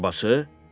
Əl arabası?